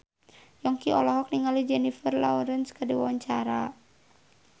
Yongki olohok ningali Jennifer Lawrence keur diwawancara